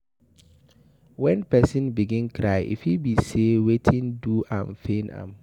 When person begin cry, e fit be say wetin do am pain am